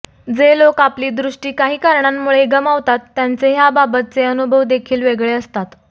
जे लोक आपली दृष्टी काही कारणांमुळे गमावतात त्यांचे ह्याबाबतचे अनुभव देखील वेगळे असतात